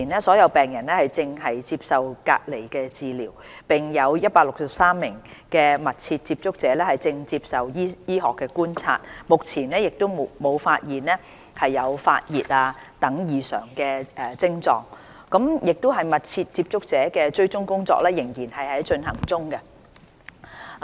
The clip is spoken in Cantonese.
所有病人目前正接受隔離治療；有163名密切接觸者正接受醫學觀察，目前沒有發現發熱等異常症狀，密切接觸者的追蹤工作仍在進行。